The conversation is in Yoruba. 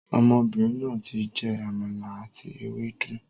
Ọmọbìnrin náà tí jẹ Àmàlà àti ewédú